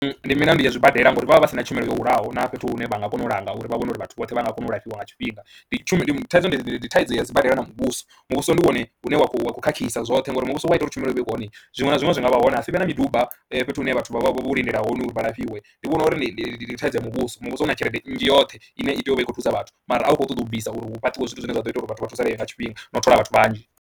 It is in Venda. Ndi milandu ya zwibadela ngauri vha vha vha si na tshumelo yo hulaho na fhethu hune vha nga kona u langa uri vha vhone uri vhathu vhoṱhe vha nga kona u lafhiwa nga tshifhinga. Ndi tshumelo thaidzo, ndi thaidzo ya sibadela na muvhuso, muvhuso ndi wone une wa khou khakhisa zwoṱhe ngori muvhuso wa ita uri tshumelo i vhe hone zwiṅwe zwa zwiṅwe zwi nga vha hone ha si vhe na miduba fhethu hune vhathu vha vha vho lindela hone uri vha lafhiwe. Ndi vhona uri ndi thaidzo ya muvhuso, muvhuso u na tshelede nnzhi yoṱhe ine i tea u vha i khou thusa vhathu mara a u khou ṱoḓa u bvisa uri hu fhaṱiwe zwithu zwine zwa ḓo ita uri vhathu vha thusalee nga tshifhinga na u thola vhathu vhanzhi.